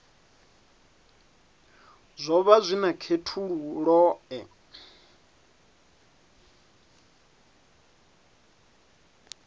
zwo vha zwi na khethululoe